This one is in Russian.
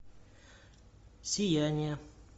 сияние